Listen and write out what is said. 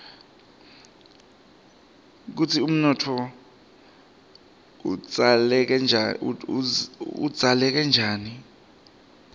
kutsi umuntfu udzaleke njani